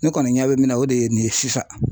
Ne kɔni ɲɛ bɛ min na o de ye nin ye sisan.